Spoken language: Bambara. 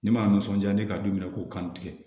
Ne m'a nisɔndiya ne ka du minɛ ko kanu tigɛ